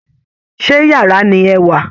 Ṣé yàrá ni ẹ wà?